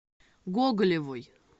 гоголевой